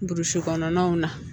Burusi kɔnɔnaw na